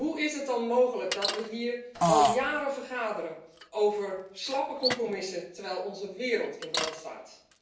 Hoe is het dan mogelijk dat we hier al jaren vergaderen over slappe compromissen terwijl onze wereld in brand staat?